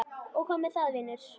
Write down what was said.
Og hvað með það, vinur?